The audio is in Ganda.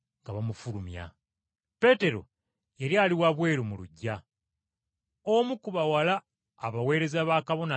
Peetero yali ali wabweru mu luggya, omu ku bawala abaweereza ba Kabona Asinga Obukulu n’ajja.